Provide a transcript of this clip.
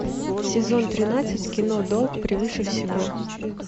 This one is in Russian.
сезон тринадцать кино долг превыше всего